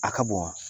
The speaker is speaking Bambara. A ka bon wa